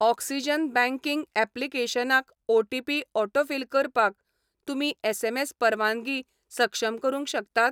Oxygen banking ऍप्लिकेशनाक OTP autofill करपाक तुमी एसएमएस परवानगी सक्षम करूंक शकतात?